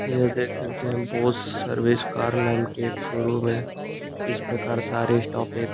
यह देख सकते हैं बोस सर्विस कार नाम के एक शोरूम है इस प्रकार सारे स्टॉप एक --